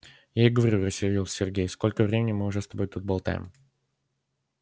я и говорю рассердился сергей сколько времени мы уже с тобой тут болтаем